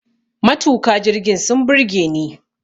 Matuka jirgin sun burge ni